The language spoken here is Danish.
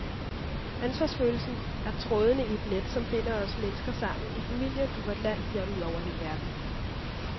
Ansvarsfølelsen er trådene i et net, som binder os mennesker sammen, i familien, i vort land, ja ud over hele verden.